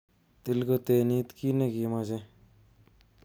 Til kotenit kit nekimoche.